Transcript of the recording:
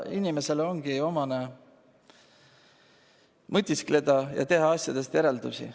Inimesele ongi omane mõtiskleda ja teha järeldusi.